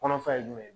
Kɔnɔfara ye jumɛn ye